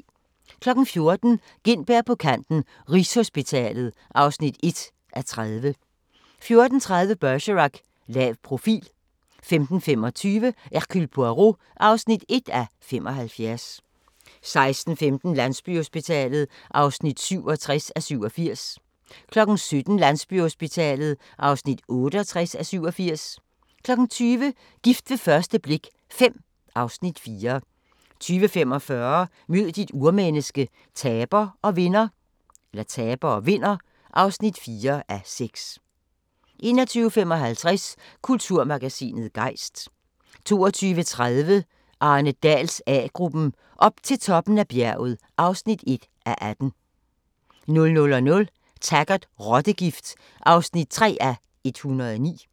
14:00: Gintberg på kanten - Rigshospitalet (1:30) 14:30: Bergerac: Lav profil 15:25: Hercule Poirot (1:75) 16:15: Landsbyhospitalet (67:87) 17:00: Landsbyhospitalet (68:87) 20:00: Gift ved første blik V (Afs. 4) 20:45: Mød dit urmenneske – taber og vinder (4:6) 21:55: Kulturmagasinet Gejst 22:30: Arne Dahls A-gruppen: Op til toppen af bjerget (1:18) 00:00: Taggart: Rottegift (3:109)